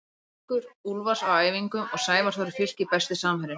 Haukur Úlfars á æfingum og Sævar Þór í Fylki Besti samherjinn?